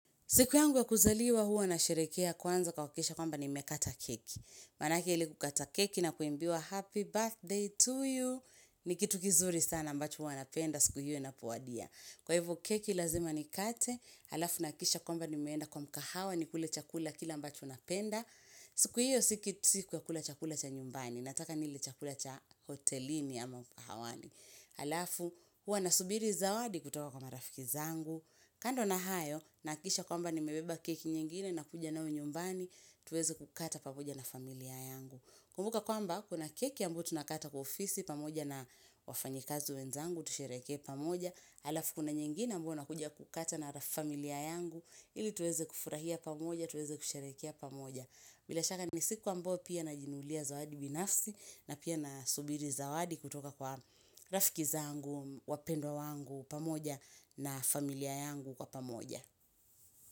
Siku yangu wa kuzaliwa huwa na sherehekea kwanza kwa kuhakikisha kwamba nimekata keki. Manake ile kukata keki na kuimbiwa happy birthday to you. Nikitu kizuri sana ambacho huwa napenda siku hiyo inapowadia. Kwa hivo keki lazima nikate. Halafu nahakikisha kwamba nimeenda kwa mkahawa nikule chakula kile ambacho napenda. Siku hiyo si siku ya kula chakula cha nyumbani. Nataka nile chakula cha hotelini ama mkahawani. Halafu huwa nasubiri zawadi kutoka kwa marafiki zangu. Kando na hayo, nahakikisha kwamba nimebeba keki nyingine na kuja nayo nyumbani, tuweze kukata pamoja na familia yangu. Kumbuka kwamba, kuna keki ambayo tunakata kwa ofisi pamoja na wafanyikazi wenzangu, tusherehekee pamoja. Halafu kuna nyingine ambayo nakuja kukata na ra familia yangu, ili tuweze kufurahia pamoja, tuweze kusherehekea pamoja. Bila shaka ni siku ambayo pia najinunulia zawadi binafsi na pia nasubiri zawadi kutoka kwa rafiki zangu, wapendwa wangu pamoja na familia yangu kwa pamoja.